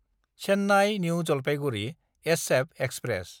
Chennai New Jalpaiguri SF express